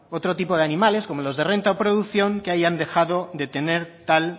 otro tipo de animales como los de renta o producción que ahí han dejado tener tal